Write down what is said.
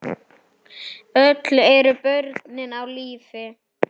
Öll eru börnin á lífi.